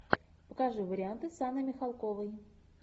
покажи варианты с анной михалковой